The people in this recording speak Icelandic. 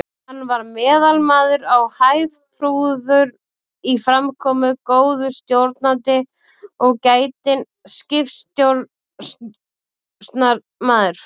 Hann var meðalmaður á hæð, prúður í framkomu, góður stjórnandi og gætinn skipstjórnarmaður.